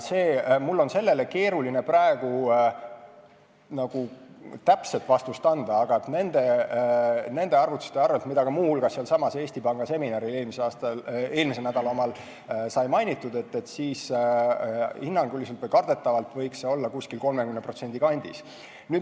Mul on keeruline sellele praegu täpset vastust anda, aga nende arvutuste kohaselt, mida muu hulgas sealsamas Eesti Panga eelmise nädala seminaril sai mainitud, hinnanguliselt või kardetavalt võiks see olla 30% kandis.